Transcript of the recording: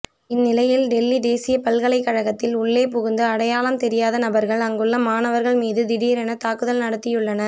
இந்நிலையில் டெல்லி தேசிய பல்கலைக்கழகத்தில் உள்ளே புகுந்து அடையாளம் தெரியாத நபர்கள் அங்குள்ள மாணவர்கள் மீது திடீரென தாக்குதல் நடத்தியுள்ளனர்